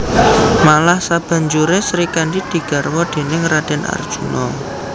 Malah sabanjuré Srikandhi digarwa déning Radèn Arjuna